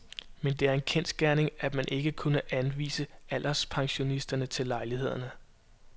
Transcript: Men det er en kendsgerning, at man ikke har kunnet anvise alderspensionister til lejlighederne.